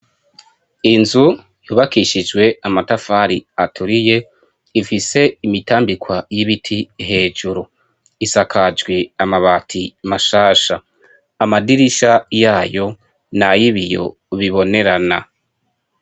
inzu yubakishijwe amatafari aturiye, ifise imitambikwa y'ibiti hejuru. isakajwe amabati mashasha. amadirisha yayo nay'ibiyo bibonerana.